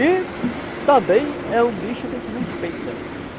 E também é um bicho que a gente respeita.